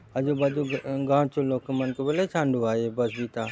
आजू-बाजू गाँव चो लोग मन के बले छांडुआय ये बस बीता --